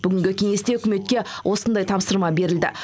бүгінгі кеңесте үкіметке осындай тапсырма берілді